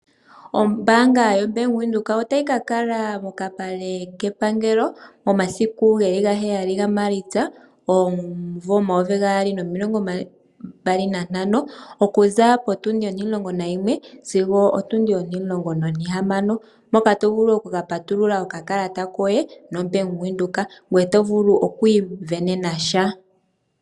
Oombaanga yaWindhoek otayi kakala kokapale kepangelo momasiku geli ga 7 gaMaalitsa omumvo 2025 okuza potundi 11 sigo otundi 16, mpoka tovulu oku kapatulula okakalata koye nombaanga yaWindhoek ngoye tovulu okwiisindanena sha.